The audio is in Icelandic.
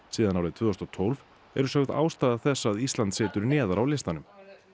síðan árið tvö þúsund og tólf eru sögð ástæða þess að Ísland situr neðar á listanum